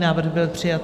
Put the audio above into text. Návrh byl přijat.